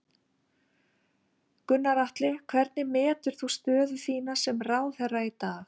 Gunnar Atli: Hvernig metur þú stöðu þína sem ráðherra í dag?